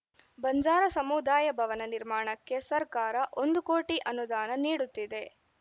ಬಂಜಾರ ಸಮುದಾಯ ಭವನ ನಿರ್ಮಾಣಕ್ಕೆ ಸರ್ಕಾರ ಒಂದು ಕೋಟಿ ಅನುದಾನ ನೀಡುತ್ತಿದೆ